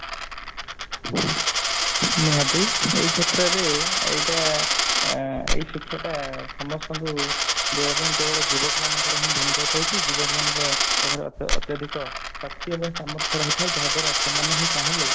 ନିହାତି ଏଇ କ୍ଷେତ୍ରରେ ଏଇଟା ଏଇ ଶିକ୍ଷା ଟା ସମସ୍ତଙ୍କୁ ଦେବାପାଇଁ କେବଳ ଯୁବକ ମାନଙ୍କର ହିଁ ଭୂମିକା ରହିଛି ଯୁବକ ମାନଙ୍କର ଅତ୍ୟଧିକ ଶକ୍ତି ଏବଂ ସାମର୍ଥ୍ୟ ରହିଥାଏ ଯାହା ଦ୍ଵାରା ସେମାନେ ହିଁ ଚାହିଁଲେ